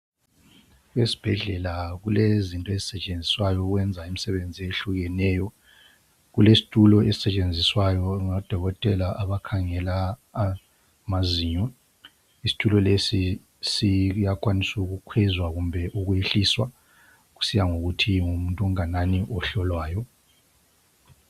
Esibhedlela kulezinto ezisetshenziswayo ukwenza imisebenzi eyehlukeneyo , kulesitulo esisetshenziswayo ngodokotela abakhangela amazinyo, isitulo lesi siyakwanisa ukukhwezwa kumbe ukwehliswa kusiya ngokuthi ngumuntu onganani ohlolwayo.